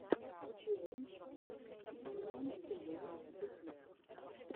челлендж димонтв ютуб